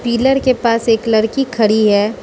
Pillar के पास एक लड़की खड़ी है।